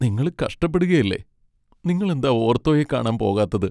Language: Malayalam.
നിങ്ങള് കഷ്ടപ്പെടുകയല്ലേ? നിങ്ങളെന്താ ഓർത്തോയെ കാണാൻ പോകാത്തത്?